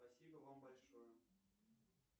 спасибо вам большое